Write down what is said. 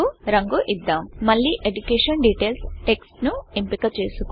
మళ్లీ education details education details text ను ఎంపిక చేసుకుందాం